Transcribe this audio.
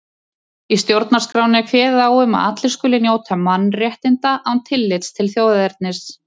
Í stjórnarskránni er kveðið á um að allir skuli njóta mannréttinda án tillits til þjóðernis.